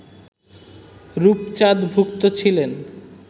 রূপচাঁদ ভুক্ত ছিলেন